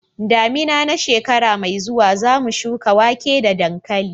damina na shekara mai zuwa zamu shuka wake da dankali